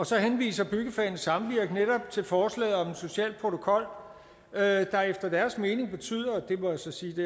så henviser byggefagenes samvirke netop til forslaget om en social protokol der efter deres mening betyder og det må jeg så sige